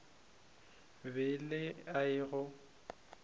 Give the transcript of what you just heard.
be e le a go